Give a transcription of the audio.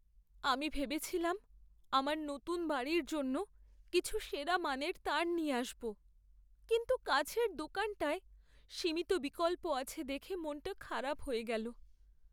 আমি ভেবেছিলাম আমার নতুন বাড়ির জন্য কিছু সেরা মানের তার নিয়ে আসবো, কিন্তু কাছের দোকানটায় সীমিত বিকল্প আছে দেখে মনটা খারাপ হয়ে গেল।